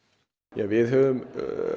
ja við höfum